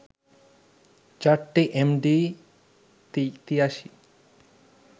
চারটি এমডি-৮৩